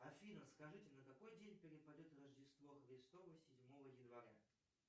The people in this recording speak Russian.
афина скажите на какой день перепадет рождество христово седьмого января